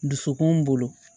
Dusukun bolo